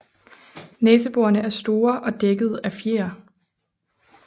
Næseborene er store og dækkede af fjer